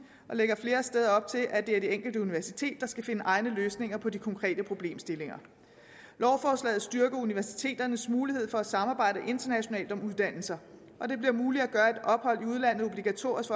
og lægger flere steder op til at det er det enkelte universitet der skal finde egne løsninger på de konkrete problemstillinger lovforslaget styrker universiteternes muligheder for at samarbejde internationalt om uddannelser og det bliver muligt at gøre et ophold i udlandet obligatorisk